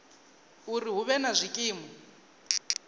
uri hu vhe na zwikimu